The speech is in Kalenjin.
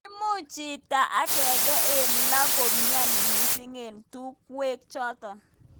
Imuch chito agenge eng lo komnyeni mising eng tungwek chototok.